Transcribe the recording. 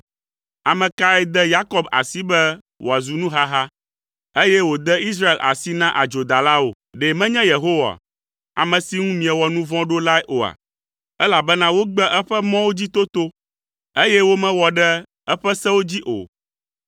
Ame kae de Yakob asi be wòazu nuhaha, eye wòde Israel asi na adzodalawo? Ɖe menye Yehowa, ame si ŋu miewɔ nu vɔ̃ ɖo lae oa? Elabena wogbe eƒe mɔwo dzi toto, eye womewɔ ɖe eƒe sewo dzi o.